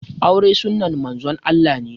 Aure sunnan Manzon Allah ne